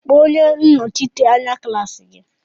Kpọọ onye Nnọchite anya klaasi gị!